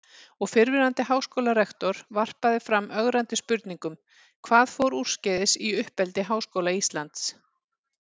Og fyrrverandi háskólarektor varpaði fram ögrandi spurningum: Hvað fór úrskeiðis í uppeldi Háskóla Íslands?